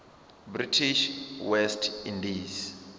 british west indies